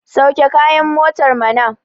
sauke kayan motar mana!